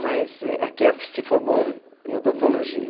Mas é que se formou em odontologia.